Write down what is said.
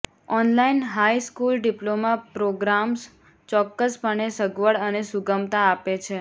online high school diploma programmes ચોક્કસપણે સગવડ અને સુગમતા આપે છે